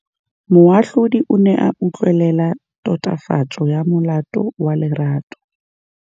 Moatlhodi o ne a utlwelela tatofatsô ya molato wa Lerato.